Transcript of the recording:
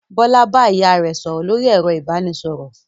Bọ́lá bá ìyá rẹ̀ sọ̀rọ̀ lórí ẹ̀rọ ìbanisọ̀rọ̀?